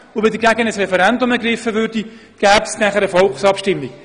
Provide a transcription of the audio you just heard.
Und wenn das Referendum dagegen ergriffen würde, gäbe es anschliessend eine Volksabstimmung.